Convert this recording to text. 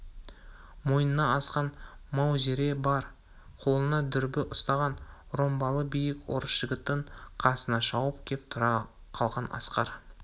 мойнына асқан маузері бар қолына дүрбі ұстаған ромбалы биік орыс жігітінің қасына шауып кеп тұра қалған асқар